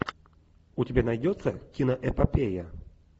у тебя найдется киноэпопея